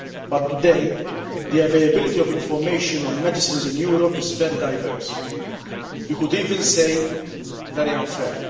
But today, the availability of information on medicines in Europe is very diverse you could even say very unfair.